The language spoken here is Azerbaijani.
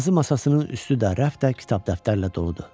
Yazı masasının üstü dar, rəf də kitab dəftərlə doludur.